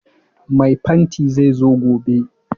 Mai fanti zai zo gobe